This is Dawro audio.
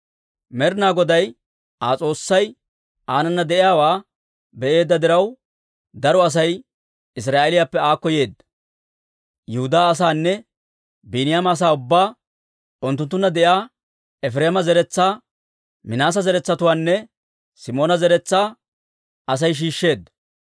Med'inaa Goday Aa S'oossay aanana de'iyaawaa be'eedda diraw, daro Asay Israa'eeliyaappe aakko yeedda; Yihudaa asaanne Biiniyaama asaa ubbaa, unttunttunna de'iyaa Efireema zeretsaa, Minaase zaratuwaanne Simoona zeretsaa Asay shiishsheedda.